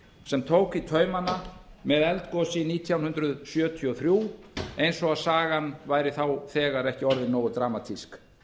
sem tók í taumana með eldgosi nítján hundruð sjötíu og þrjú eins og sagan væri þá þegar ekki orðin nógu dramatísk